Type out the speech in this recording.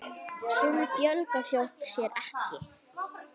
Svona fjölgar fólk sér ekki!